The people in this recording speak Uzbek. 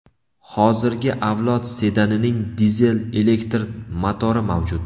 Hozirgi avlod sedanining dizel-elektr motori mavjud.